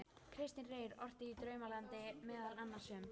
Kristinn Reyr orti í Draumalandinu meðal annars um